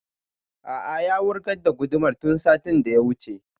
A'a ya wurgar da gudumar tun satin da ya wuce